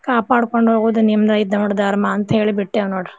ಕಾಪಾಡ್ ಕೊಂಡ್ ಹೋಗೋದ್ ನಿಮ್ದ್ ಇದ ಧರ್ಮಾ ಅಂತ್ ಹೇಳಿ ಬಿಟ್ಟೆವ್ ನೋಡ್.